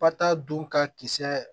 Pa ta dun ka kisɛ